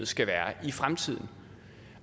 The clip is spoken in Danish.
skal være i fremtiden